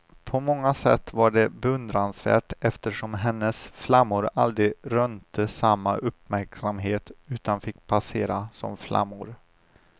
På många sätt var det beundransvärt eftersom hennes flammor aldrig rönte samma uppmärksamhet utan fick passera, som flammor.